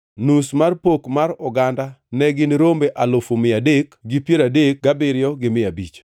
nus mar pok mar oganda ne gin rombe alufu mia adek gi piero adek gabiriyo gi mia abich (337,500),